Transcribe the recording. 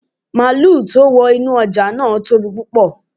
Máàlù tó wà ní ọjà náà tóbi púpọ.